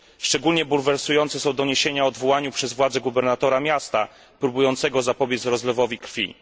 Szczególnie bulwersujące są doniesienia o odwołaniu przez władze gubernatora miasta próbującego zapobiec rozlewowi krwi.